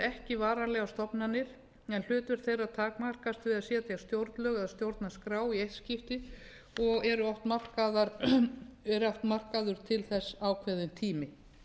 ekki varanlegar stofnanir en hlutverk þeirra takmarkast við að setja stjórnlög eða stjórnarskrá í eitt skipti og er oft markaður til þess ákveðinn tími